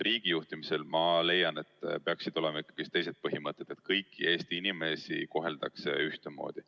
Riigi juhtimisel, ma leian, peaksid ikkagi olema teised põhimõtted, nii et kõiki Eesti inimesi koheldaks ühtemoodi.